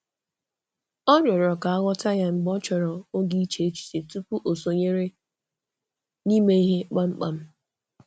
Ọ rịọ̀rò ka a ghọta ya mgbe ọ chọrọ oge iche echiche tupu o sonyere n’ime ihe kpamkpam.